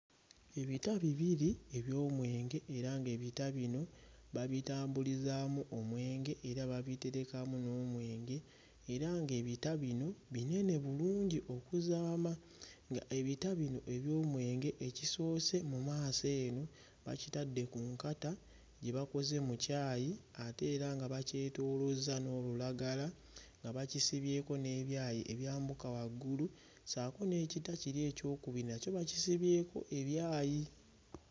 Ebita bibiri eby'omwenge era ng'ebita bino babitambulizaamu omwenge era babiterekamu n'omwenge era ng'ebita bino binene bulungi okuzaama nga ebita bino eby'omwenge ekisoose mu maaso eno bakitadde ku nkata gye bakoze mu kyayi ate era nga bakyetoolozza n'olulagala nga bakisibyeko n'ebyayi ebyambuka waggulu ssaako n'ekita kiri ekyokubiri nakyo bakisibyeko ebyayi.